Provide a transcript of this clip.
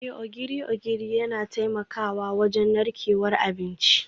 Eh, Ogiri ogiri yana taimakawa wajen narkewar abinci